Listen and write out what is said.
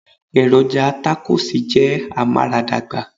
Èròjà takosì jẹ́ amaradagba.